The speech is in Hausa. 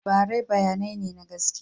Labarai bayanai ne na gaskiya.